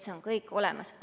See on kõik olemas.